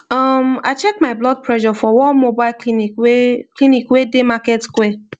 um i check my blood pressure for one mobile clinic wey clinic wey dey market square